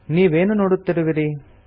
ನೀವೇನು ನೋಡುತ್ತಿರುವಿರಿ